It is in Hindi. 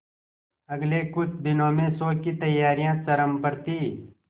अगले कुछ दिनों में शो की तैयारियां चरम पर थी